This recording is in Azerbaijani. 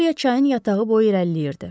Viktoriya çayın yatağı boyu irəliləyirdi.